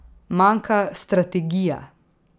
Manjka strategija!